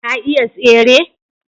ta iya tsere?